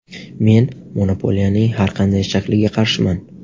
Men monopoliyaning har qanday shakliga qarshiman.